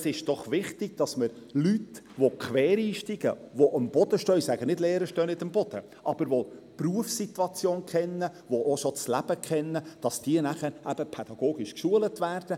Aber es ist doch wichtig, dass Leute, die quer einsteigen, die mit beiden Füssen auf dem Boden stehen, die die Berufssituation kennen, die auch schon das Leben kennen, dass diese pädagogisch geschult werden.